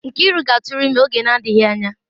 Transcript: Nkiru ga-atụrụ ime oge na-adịghị anya